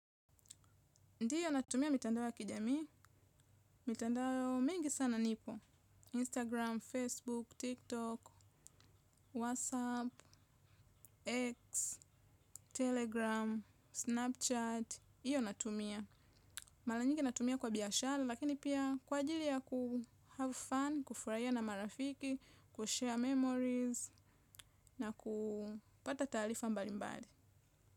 Ndio natumia mitandao ya kijamii, mitandao mingi sana nipo. Instagram, Facebook, TikTok, WhatsApp, X, Telegram, Snapchat, hiyo natumia. Mara nyingi natumia kwa biashara, lakini pia kwa ajili ya kuhave fan, kufurahia na marafiki, kushare memories, na kupata talifa mbali mbali.